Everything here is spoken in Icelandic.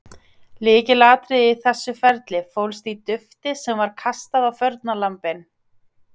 Lykilatriðið í þessu ferli fólst í dufti sem var kastað á fórnarlömbin.